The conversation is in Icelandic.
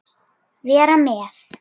Vera með?